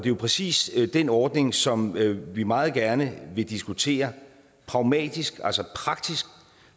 jo præcis den ordning som vi meget gerne vil diskutere pragmatisk altså praktisk